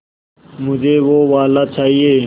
मुझे वो वाला चाहिए